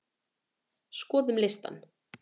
Skoðum listann!